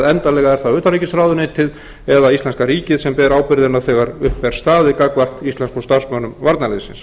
endanlega er það utanríkisráðuneytið eða íslenska ríkið sem ber ábyrgðina þegar upp er staðið gagnvart íslenskum starfsmönnum varnarliðsins